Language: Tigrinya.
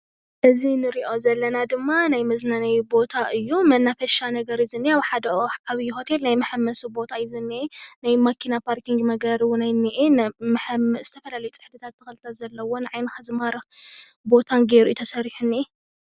እዚ እንሪኦ ዘለና ድማ ናይ መዝናነዩ ቦታ እዩ ።መናፈሻ ነገር እዩ እኒሀ። ኣብ ሓደ ዓብዩ ሆቴል ናይ መሐመሲ ቦታ እዩ እኒሆ። ናዬ መኪና ፓርኪንግ መግበሪ እውን እኒሆ። ዝተፈላለዩ ፅሕድታት ተኽልታት ዘለውዎ ንዓይንኻ ዝማርኽ ቦታን ጌሩ ተሰሪሑ እኒሆ።